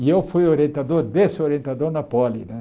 E eu fui orientador desse orientador na Poli né.